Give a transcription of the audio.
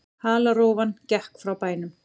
Halarófan gekk frá bænum.